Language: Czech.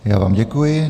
Já vám děkuji.